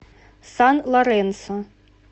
сан лоренсо